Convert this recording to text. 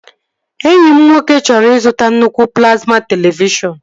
Enyi m nwoke chọrọ ịzụta nnukwu plazma televishọn